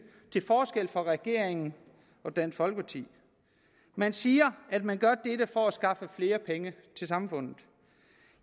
til forskel fra regeringen og dansk folkeparti man siger at man gør dette for at skaffe flere penge til samfundet